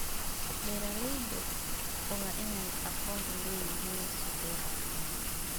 Beeraleydu waa inay aqoon u leeyihiin suuqyada.